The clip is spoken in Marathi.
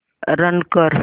रन कर